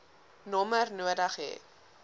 nommer nodig hê